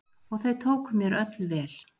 Og þau tóku mér öll vel.